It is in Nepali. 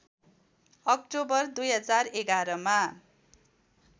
अक्टोबर २०११ मा